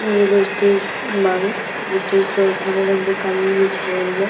इ एगो स्टेज बावे। स्टेज पर हरा रंग के कालीन बिछावल बा।